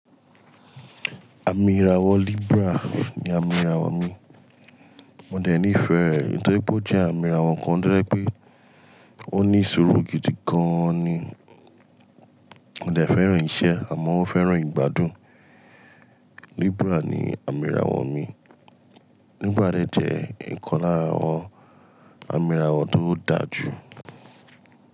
Àmì ìràwọ̀ Libra ni àmì ìràwọ̀ mi. Mo dẹ̀ nífẹ̀ẹ́ ẹ nítorí pé ó jẹ́ àmì ìràwọ̀ kan tó jẹ pé ó ní sùúrù gidi gan an ni. Mo dẹ̀ fẹ́ràn iṣẹ́ àmọ́ ó fẹ́ràn ìgbádùn. Libra ni àmì ìràwọ̀ mi. Libra de jẹ́ ìkan lára àwọn àmì ìràwọ̀ tó dáa jù.